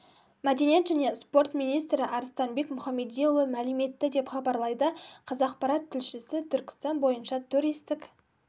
мәдениет және спорт министрі арыстанбек мұхамедиұлы мәлім етті деп хабарлайды қазақпарат тілшісі түркістан бойынша туристік